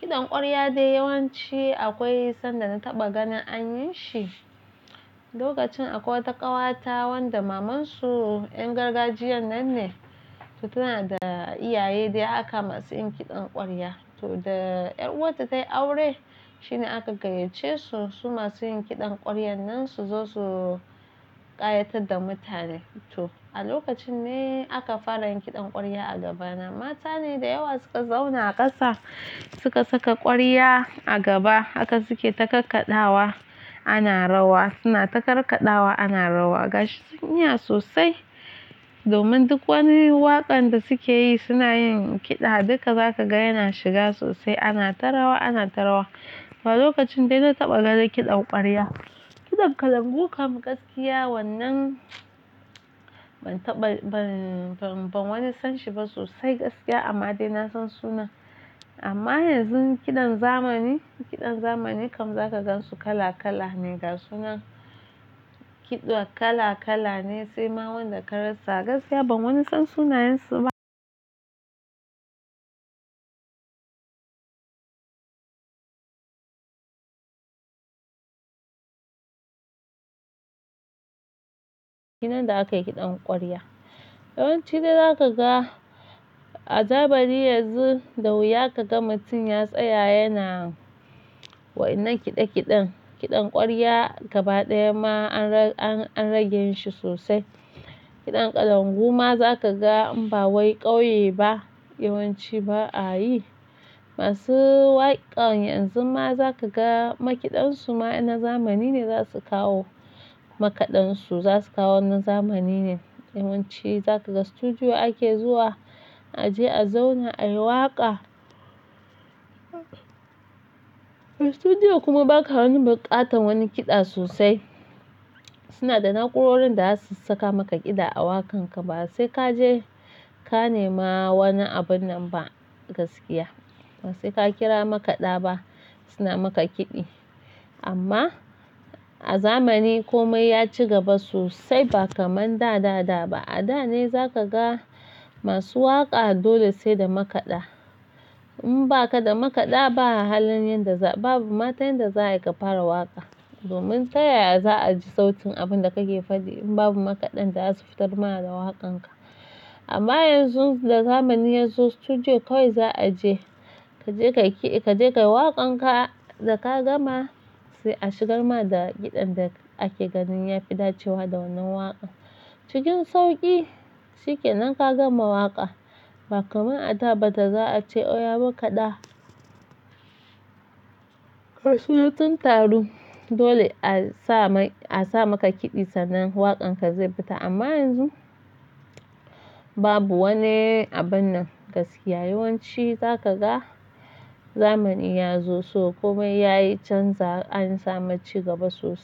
Kiɗan ƙwarya dai yawanci akwai sanda na taɓa ganin an yi shi lokacin akwai wata ƙawata wanda mamansu 'yar gargajiyan nan ne, tana da iyaye dai haka masu yin kiɗan ƙwarya. To da 'yar uwarta ta yi aure shine aka gayyace su, su masu yin kiɗan ƙwaryan nan su zo su ƙayatar da mutane. To a lokacin ne aka fara yin kiɗan ƙwarya a gaba na. Mata ne da yawa suka zauna a ƙasa, suka saka ƙwarya a gaba haka suke takarkaɗawa ana rawa, suna takarkaɗawa ana rawa. Gashi sun iya sosai domin duk wani waƙar da suke yi suna yin kiɗa duka za ka ga yana shiga sosai ana ta rawa, ana ta rawa. Wa lokacin dai na taɓa ganin kiɗan ƙwarya. Kiɗan kalangu kam gaskiya wannan ban wani san shi ba sosai gaskiya amma dai na san sunan. Amma yanzu kiɗan zamani, kiɗan zamani kam za ka gan su kala-kala ne ga sunan kiɗa kala-kala ne sai ma wanda ka rasa gaskiya. Nan da aka yi kiɗan ƙwarya. Yawanci dai za ka ga a zamani yanzu da wuya ka ga mutum ya tsaya yana wannan kiɗe-kiɗen. Kiɗan ƙwarya gaba ɗaya ma an rage shi sosai. Kiɗan kalangu ma za ka ga in ba wai ƙauye ba yawanci ba a yi. Masu waƙar yanzu ma za ka ga makaɗan su ma na zamani ne za su kawo makaɗan su za su kawo na zamani ne. Yawanci za ka ga studio ake zuwa a je a zauna a yi waƙa. Studio kuma ba ka wani buƙatar wani kiɗa sosai. Suna da na'urorin da za su saka maka kiɗa a waƙan ka ba sai ka je ka nema wani abin nan ba gaskiya. Ba sai ka kira makaɗa ba suna maka kiɗi. Amma a zamani komai ya ci gaba sosai ba kamar da da da ba. A da ne za ka ga masu waƙa dole sai da makaɗa. In ba ka da makaɗa ba, babu ma ta inda za a yi ka fara waƙa domin ta yaya za a ji sautin abin da kake faɗi in babu makaɗan da za su fitar ma da waƙan ka. Amma yanzu da zamani ya zo studio kawai za a je. Ka je ka yi waƙan ka da ka gama sai a shigar ma da kiɗan da ake ganin ya fi dacewa da wannan waƙa. Cikin sauƙi shike nan ka gama waƙa ba kamar a da ba da za a ce "Oya makaɗa". Ka soyu tun taro dole a sa mai a sa maka kiɗi sannan waƙan ka zai fita amma yanzu babu wani abin nan gaskiya. Yawanci za ka ga zamani ya zo so komai yayi canza an samu ci gaba sosai.